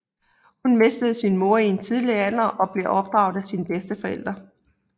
Hun mistede sin mor i en tidlig alder og blev opdraget af sine bedsteforældre